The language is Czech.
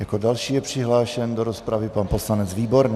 Jako další je přihlášen do rozpravy pan poslanec Výborný.